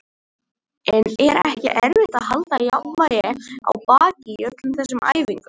En er ekki erfitt að halda jafnvægi á baki í öllum þessum æfingum?